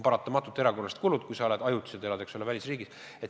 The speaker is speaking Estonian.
Paratamatult on erakorralised kulutused, kui sa ajutiselt elad välisriigis.